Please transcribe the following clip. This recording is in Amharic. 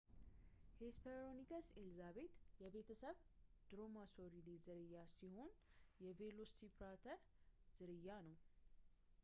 ሄስፐሮንይከስ ኤልዛቤት የቤተሰብ ድሮማሶሪዴ ዝርያ ሲሆን የ ቬሎሲራፕተር ዝርያ ነው